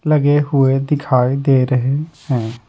लगे हुए दिखाई दे रहे हैं।